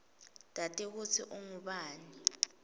tati kutsi ungubani